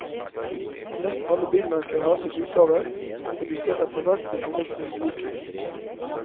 Nesten alle bilmerkene har sine utgaver, og de ser etterhvert til forveksling like ut.